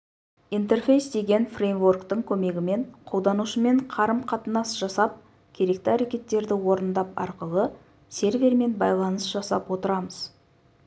интерфейс деген фреймворктің көмегімен қолданушымен қарым-қатынас жасап керекті әрекеттерді орындап арқылы сервермен байланыс жасап отырамыз